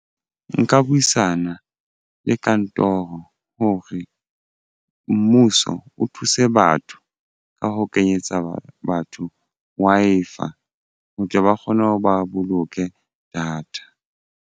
Nka buisana le kantoro hore mmuso o thuse batho ka ho kenyetsa batho Wi-Fi ho tle ba kgone ho ba boloke data.